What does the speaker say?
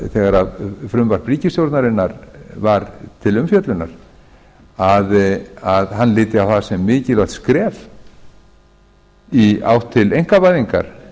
þegar frumvarp ríkisstjórnarinnar var til umfjöllunar að hann liti á það sem mikilvægt skref í átt til einkavæðingar